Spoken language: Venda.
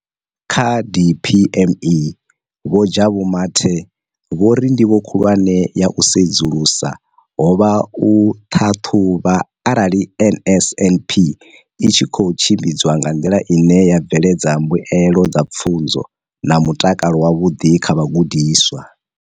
Kha DPME, Vho Jabu Mathe, vho ri ndivho khulwane ya u sedzulusa ho vha u ṱhaṱhuvha arali NSNP i tshi khou tshimbidzwa nga nḓila ine ya bveledza mbuelo dza pfunzo na mutakalo wavhuḓi kha vhagudiswa.